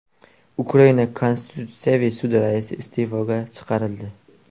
Ukraina Konstitutsiyaviy sudi raisi iste’foga chiqarildi.